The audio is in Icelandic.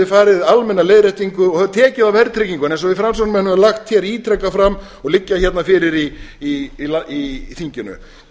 farið í almenna leiðréttingu og tekið á verðtryggingunni eins og við framsóknarmenn höfum lagt ítrekað fram og liggja hérna fyrir í þinginu